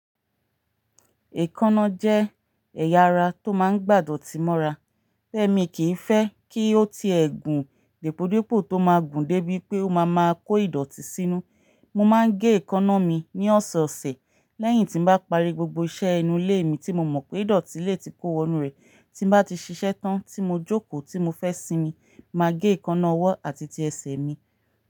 Èékánná jẹ́ ẹ̀yà ara tó máa ń gbàdọ tì mọ́ra. Tẹ́ mi kì í fẹ́ kí ó ti ẹ̀gún dípòdípò tó máa gùn dé bí pé ó máa máa kó ìdọ̀tí sínú, mo máa ń gé èékánná mi ní ọ̀sọ̀ọ̀sẹ̀ lẹ́yìn tí bá parí gbogbo iṣẹ́ ẹnu lé mi tí mo mọ̀ pé ìdọ̀tí lè ti kó wọnú rẹ̀. Tí bá ti ṣiṣẹ́ tán tí mo jókòó tí mo fẹ́ sinmi, màá gé èékánná ọwọ́ àti ti ẹsẹ̀ mi.